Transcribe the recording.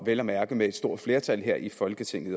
vel at mærke med et stort flertal her i folketinget